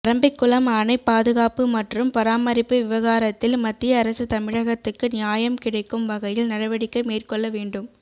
பரம்பிக்குளம் அணை பாதுகாப்பு மற்றும் பராமரிப்பு விவகாரத்தில் மத்திய அரசு தமிழகத்துக்கு நியாயம் கிடைக்கும் வகையில் நடவடிக்கை மேற்கொள்ள வேண்டும்